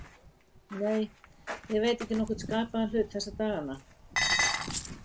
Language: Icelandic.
Nei, ég veit ekki nokkurn skapaðan hlut þessa dagana.